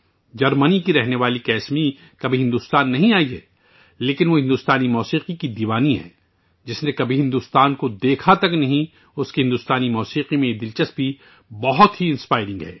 جرمنی سے تعلق رکھنے والی کسمی کبھی بھارت نہیں آئی لیکن وہ بھارتی موسیقی کی مداح ہے جس نے کبھی بھارت نہیں دیکھا، بھارتی موسیقی میں اس کی دل چسپی بہت متاثر کن ہے